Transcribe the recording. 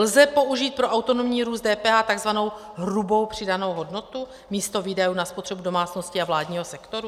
Lze použít pro autonomní růst DPH tzv. hrubou přidanou hodnotu místo výdajů na spotřebu domácností a vládního sektoru?